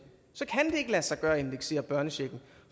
så kan det ikke lade sig gøre at indeksere børnechecken